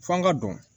F'an ka dɔn